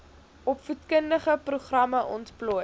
opvoedkundige programme ontplooi